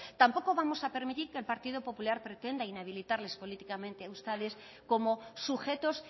tampoco vamos a permitir que el partido popular pretenda inhabilitarles políticamente a ustedes como sujetos